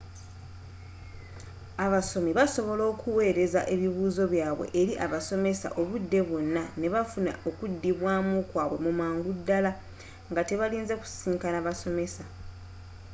abasomi basobola okuweereza ebibuuzo byabwe eri abasomesa obudde bwonna ne bafuna okudibwaamu kwabwe mangu ddala nga tebalinze kusisiinkana basomesa